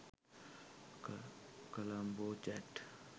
colombo chat